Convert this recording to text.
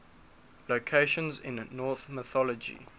locations in norse mythology